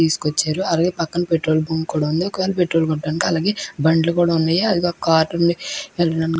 తీసుకువచ్చారు. అలాగే పక్కన పెట్రోల్ బంక్ కూడ ఉంది. ఒక వేల పెట్రోల్ కోట్టటానికి అలాగే బండ్లు కూడ ఉన్నాయి అదిగో కార్ ఉంది. ఈ ల్ --